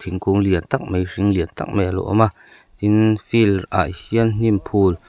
thingkung lian tak mai hring lian tak mai a lo awm a tin field ah hian hnim phûl--